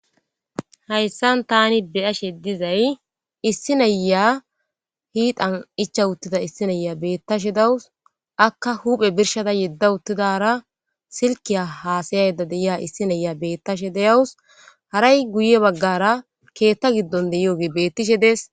Hayssan thaani be7ashee dizay issi nayyiya hiixan ichcha7uththida issi nayyiya beeththashe de7awus; akka huuphe birshshada yeddawuththidaara silkkiyaa haasayaydda de7iya issi nayiya beeththashe de7awus; haray guyye baggaaara keeththo giddon de7iyoobi beeththishe de7es.